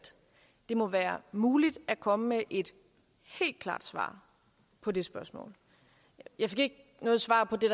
det må være muligt at komme med et helt klart svar på det spørgsmål jeg fik ikke noget svar på det